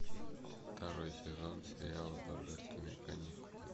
второй сезон сериала божественные каникулы